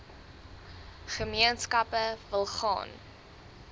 gemeenskappe wil gaan